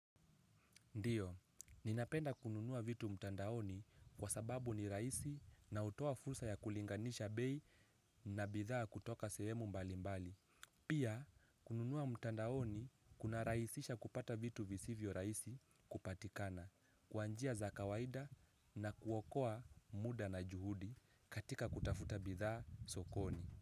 Ndiyo, ninapenda kununua vitu mtandaoni kwa sababu ni rahisi na hutoa fursa ya kulinganisha bei na bidhaa kutoka sehemu mbali mbali. Pia, kununua mtandaoni kunarahisisha kupata vitu visivyo rahisi kupatikana kwa njia za kawaida na kuokoa muda na juhudi katika kutafuta bidhaa sokoni.